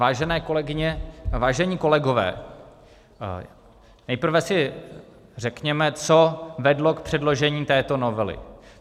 Vážené kolegyně, vážení kolegové, nejprve si řekněme, co vedlo k předložení této novely.